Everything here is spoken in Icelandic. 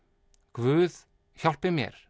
guð hjálpi mér